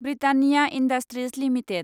Britannia Industries limited